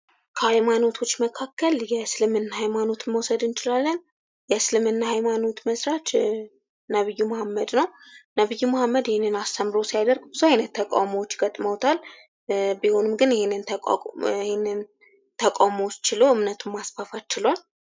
ከሀይማኖቶች መካከል የእስልምና ሀይማኖት መዉሰድ እንችላለን። የእስልምና ሀይማኖት መስራች ነብዩ ሙሐመድ ነዉ። ነብዩ ሙሐመድ ይህንን አስተምሮ ሲያደርግ ብዙ አይነት ተቃዉሞዎች ገጥመዉታል። ቢሆንም ግን ይህንን ተቃዉሞ ችሎ እምነቱን ማስፋፋት ችሏል።